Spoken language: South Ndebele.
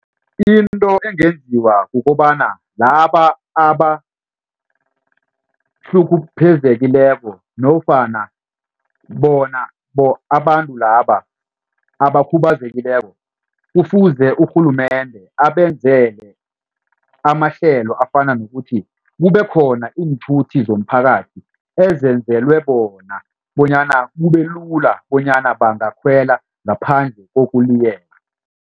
Into engenziwa kukobana laba abahlukumezekileko nofana bona abantu laba abakhubazekileko kufuze urhulumende abenzele amahlelo afana nokuthi kube khona iinthuthi zomphakathi ezenzelwe bona bonyana kube lula bonyana bangakhwela ngaphandle kokuliyeka.